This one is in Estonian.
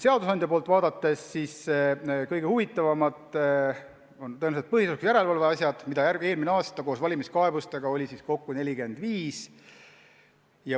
Seadusandja poolt vaadates on tõenäoliselt kõige huvitavamad põhiseaduslikkuse järelevalve asjad, mida eelmisel aastal oli koos valimiskaebustega kokku 45.